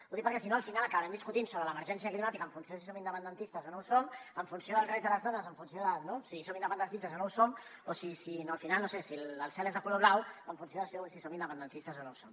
ho dic perquè si no al final acabarem discutint sobre l’emergència climàtica en funció de si som independentistes o no ho som els drets de les dones o en funció no de si som independentistes o no ho som o al final si el cel és de color blau en funció de si som independentistes o no ho som